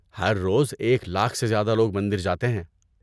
ہر روز ایک لاکھ سے زیادہ لوگ مندر جاتے ہیں۔